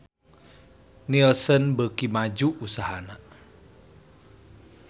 Nielsen beuki maju usahana